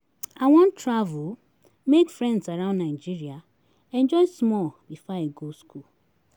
I wan travel, make friends around Nigeria, enjoy small before I go school.